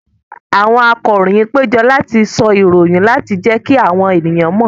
Àwọn akọròyìn péjọ láti sọ ìròyìn láti jẹ́kí àwọn èèyàn mọ̀